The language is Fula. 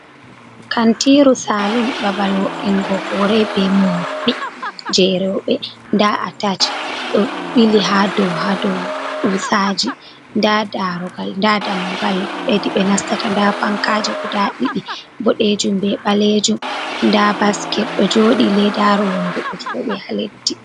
Kantiru saalun, babal vo'ingo hore be morɗi jei rowɓe. Nda atash ɗo ɓili ha dou, ha dou kuusaji, nda daroogal, nda dammugal hedi be nastata. Nda fankaaji guda ɗiɗi boɗeejum be ɓaleejum. Nda basket ɗo jooɗi. Leedaru wondu do jooɗi ha leddi.